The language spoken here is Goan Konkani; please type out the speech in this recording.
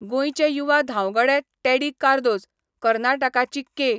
गोंयचे युवा धांवगडे टेडी कार्दोझ, कर्नाटकाची के.